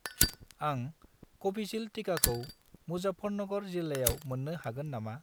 आं कविसिल्द टिकाखौ मुजाफ्फरनगर जिल्लायाव मोन्नो हागोन नामा?